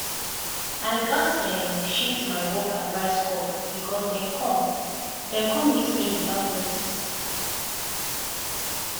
i gatz um shift my work advice call because dem come dem come meet me without notice.